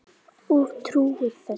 Og trúir þú þessu?